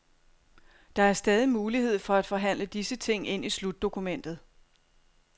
Der er stadig mulighed for at forhandle disse ting ind i slutdokumentet.